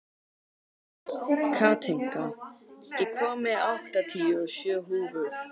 Katinka, ég kom með áttatíu og sjö húfur!